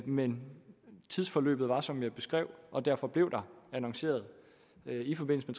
men tidsforløbet var som jeg beskrev og derfor blev der annonceret i forbindelse